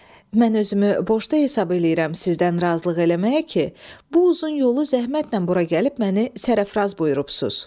Mən özümü borclu hesab eləyirəm sizdən razılıq eləməyə ki, bu uzun yolu zəhmətlə bura gəlib məni sərəfraz buyurubsuz.